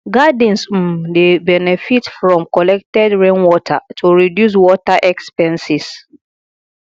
gardens um dey benefit from collected rainwater to reduce water expenses